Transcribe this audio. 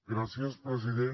gràcies president